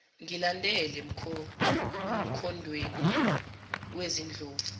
ngilandele emkhondweni wezindlovu